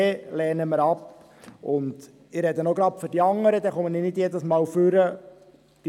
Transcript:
Ich äussere mich auch gleich zu den anderen, dann trete ich nicht jedes Mal wieder ans Rednerpult: